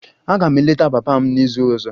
Aga m eleta papa m n'izu ọzọ.